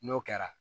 N'o kɛra